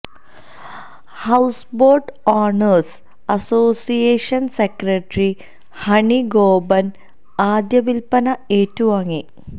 houseboat owners association secretary Honey Gopan ആദ്യ വില്പ്പന ഏറ്റു വാങ്ങി